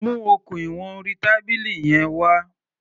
Mu okùn ìwọn orí tábìlì yẹn wá.